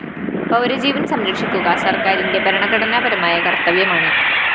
പൗരജീവന്‍ സംരക്ഷിക്കുക സര്‍ക്കാരിന്റെ ഭരണഘടനാപരമായ കര്‍ത്തവ്യമാണ്